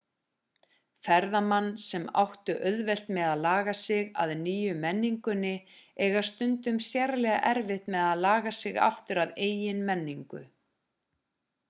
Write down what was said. ferðamann sem áttu auðvelt með að laga sig að nýju menningunni eiga stundum sérlega erfitt með að laga sig aftur að eigin menningu